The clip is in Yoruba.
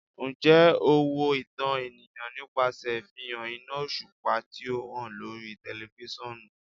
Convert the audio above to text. Njẹ o wo itan eniyan nipasẹ ifihan ina oṣupa ti o han lori tẹlifisiọnu?